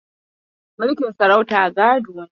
Mulkin sarauta gado ne.